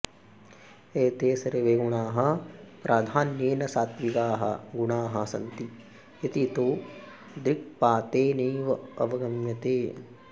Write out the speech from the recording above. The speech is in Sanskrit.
एते सर्वे गुणाः प्राधान्येन सात्त्विकाः गुणाः सन्ति इति तु दृक्पातेनैव अवगम्यते